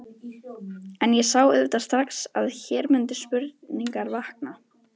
En ég sá auðvitað strax, að hér mundu spurningar vakna.